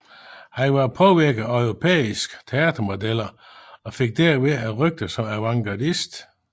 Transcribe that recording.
Han var påvirket af europæiske teatermodeller og fik derved et rygte som avantgardist